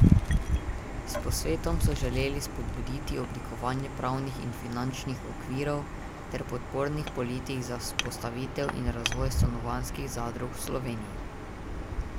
S posvetom so želeli spodbuditi oblikovanje pravnih in finančnih okvirov ter podpornih politik za vzpostavitev in razvoj stanovanjskih zadrug v Sloveniji.